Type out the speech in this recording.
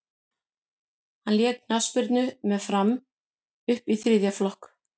hann lék knattspyrnu með fram upp í þriðja flokk